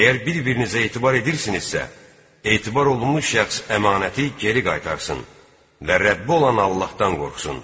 Əgər bir-birinizə etibar edirsinizsə, etibar olunmuş şəxs əmanəti geri qaytarsın və Rəbbi olan Allahdan qorxsun.